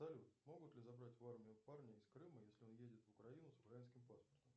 салют могут ли забрать в армию парня из крыма если он едет в украину с украинским паспортом